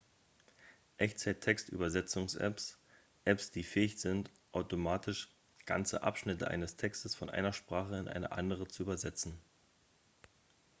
echtzeit-textübersetzungsapps apps die fähig sind automatisch ganze abschnitte eines texts von einer sprache in eine andere zu übersetzen